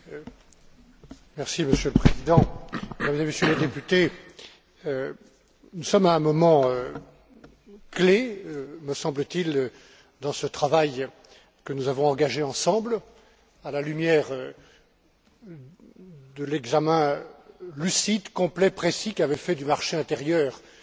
Monsieur le Président, Mesdames et Messieurs les députés, nous sommes à un moment clé, me semble t il, dans ce travail que nous avons engagé ensemble, à la lumière de l'examen lucide, complet, précis qu'avait fait du marché intérieur Mario Monti,